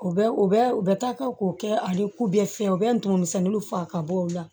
U bɛ u bɛ u bɛ taa ka k'u kɛ ale ku bɛ fiyɛ u bɛ ntumu misɛnninw faga ka bɔ o la